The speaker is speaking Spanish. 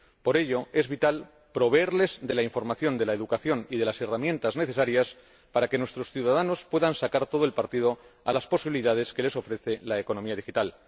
Por ello, es vital proveerles de la información, de la educación y de las herramientas necesarias para que nuestros ciudadanos puedan sacar todo el partido a las posibilidades que les ofrece la economía digital.